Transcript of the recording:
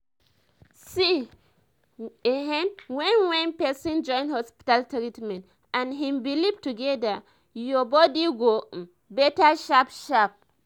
see ehen when when pesin join hospital treatment and hin belief together ur body go um better sharp sharp